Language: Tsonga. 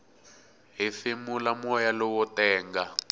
hefemula moya lowo tenga